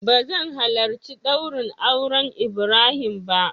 Ba zan halarci daurin auren ibrahim ba.